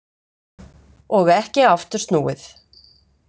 Og ekki aftur snúið.